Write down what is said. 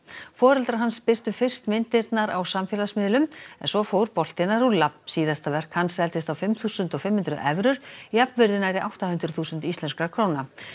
foreldrar hans birtu fyrst myndirnar á samfélagsmiðlum en svo fór boltinn að rúlla síðasta verk hans seldist á fimm þúsund fimm hundruð evrur jafnvirði nærri átta hundruð þúsund íslenskra króna